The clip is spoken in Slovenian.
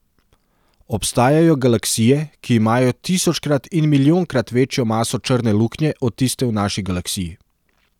Obstajajo galaksije, ki imajo tisočkrat in milijonkrat večjo maso črne luknje od tiste v naši galaksiji.